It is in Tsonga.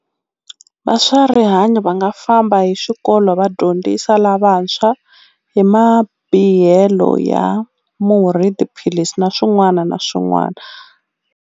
Va swa rihanyo va nga famba hi swikolo va dyondzisa lavantshwa hi mabihelo ya murhi tiphilisi na swin'wana na swin'wana.